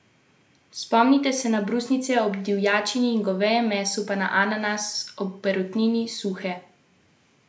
Spomnite se na brusnice ob divjačini in govejem mesu, pa na ananas ob perutnini, suhe slive ob svinjini.